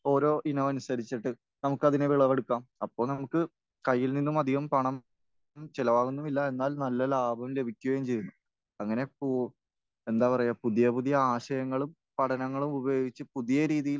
ഓരോ ഇനം അനുസരിച്ചിട്ട് നമുക്കതിനെ വിളവെടുക്കാം. അപ്പോൾ നമുക്ക് കയ്യിൽ നിന്നും അധികം പണം ചിലവാകുന്നുമില്ല എന്നാൽ നല്ല ലാഭം ലഭിക്കുകയും ചെയ്യും. അങ്ങനെ പോ...എന്താ പറയാ, പുതിയ പുതിയ ആശയങ്ങളും പഠനങ്ങളും ഉപയോഗിച്ച് പുതിയ രീതിയിൽ